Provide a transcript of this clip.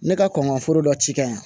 Ne ka kɔn ka foro dɔ ci ka yan